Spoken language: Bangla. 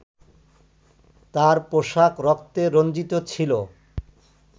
তার পোশাক রক্তে রঞ্জিত ছিলো